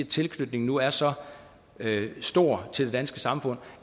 tilknytningen nu er så stor til det danske samfund